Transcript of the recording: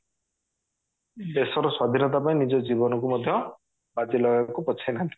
ଦେଶ ର ସ୍ଵାଧୀନତା ପାଇଁ ନିଜ ଜୀବନ କୁ ମଧ୍ୟ ବାଜି ଲଗେଇବାକୁ ପଛେଇ ନାହାନ୍ତି